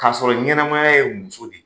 K'a sɔrɔ ɲɛnɛmaya ye muso de